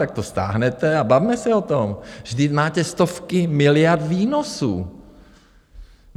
Tak to stáhněte a bavme se o tom, vždyť máte stovky miliard výnosů.